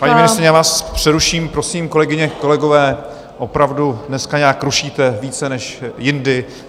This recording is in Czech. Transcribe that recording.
Paní ministryně, já vás přeruším - prosím, kolegyně, kolegové, opravdu dneska nějak rušíte více než jindy.